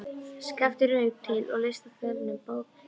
Skapti rauk til og leysti af selnum brókina.